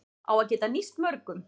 Á að geta nýst mörgum